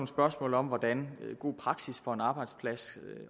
spørgsmål om hvordan god praksis for en arbejdsplads